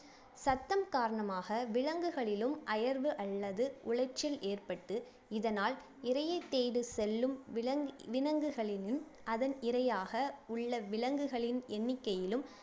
சத்தம் காரணமாக விலங்குகளிலும் அயர்வு அல்லது உளைச்சல் ஏற்பட்டு இதனால் இரையை தேடி செல்லும் விலங் விலங்குகளின் அதன் இரையாக உள்ள விலங்குகளின் எண்ணிக்கையிலும்